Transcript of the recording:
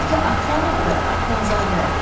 Bəlkə Attanovdur, Attanzadə?